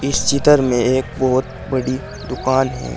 इस चितर में एक बहुत बड़ी दुकान है।